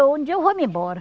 Um dia eu vou-me embora.